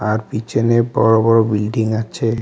আর পিছনে বড়ো বড়ো বিল্ডিং আছে।